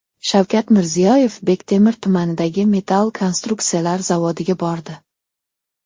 Shavkat Mirziyoyev Bektemir tumanidagi metall konstruksiyalar zavodiga bordi .